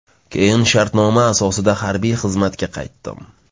Keyin shartnoma asosida harbiy xizmatga qaytdim.